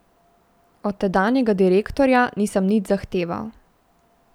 Od tedanjega direktorja nisem nič zahteval.